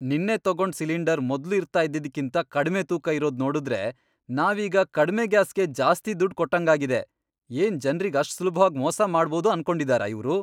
ನಿನ್ನೆ ತಗೊಂಡ್ ಸಿಲಿಂಡರ್ ಮೊದ್ಲು ಇರ್ತಾ ಇದ್ದಿದ್ಕಿಂತ ಕಡ್ಮೆ ತೂಕ ಇರೋದ್ ನೋಡುದ್ರೆ ನಾವೀಗ ಕಡ್ಮೆ ಗ್ಯಾಸ್ಗೆ ಜಾಸ್ತಿ ದುಡ್ಡ್ ಕೊಟ್ಟಂಗಾಗಿದೆ, ಏನ್ ಜನ್ರಿಗ್ ಅಷ್ಟ್ ಸುಲಭ್ವಾಗ್ ಮೋಸ ಮಾಡ್ಬೋದು ಅನ್ಕೊಂಡಿದಾರ ಇವ್ರು!